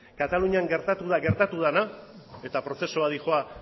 katalunian gertatu da gertatu dena eta prozesua